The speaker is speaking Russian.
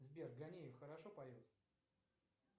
сбер ганеев хорошо поет